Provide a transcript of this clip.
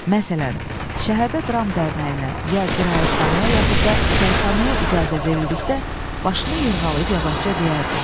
Məsələn, şəhərdə dram dərnəyinə ya qiraətxanaya yaxud da çayxanaya icazə verildikdə başını yırğalayıb yavaşca deyərdi: